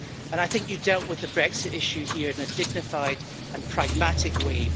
And I think you dealt with the Brexit issue here in a dignified and pragmatic way.